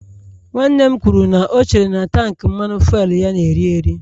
Nwanne m kwuru na o chere na tank Mmanụ fuelu ya na-eri eri